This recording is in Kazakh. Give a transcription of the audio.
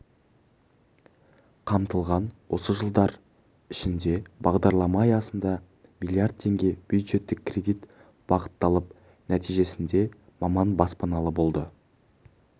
қамтылған осы жылдар ішінде бағдарлама аясында млрд теңге бюджеттік кредит бағытталып нәтижесінде маман баспаналы болды